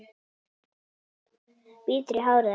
Bítur í hárið á sér.